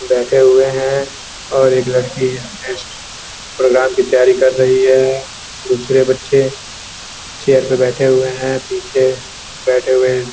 बैठे हुए हैं और एक लड़की अपने नेक्स्ट प्रोग्राम की तैयारी कर रही है दूसरे बच्चे चेयर पे बैठे हुए हैं पीछे बैठे हुए--